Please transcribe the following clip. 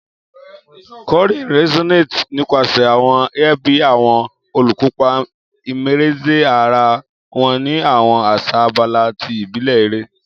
Kọrin resonates nipasẹ awọn air bi awọn olukopa immerse ara wọn ni awọn asa abala ti ibile ere.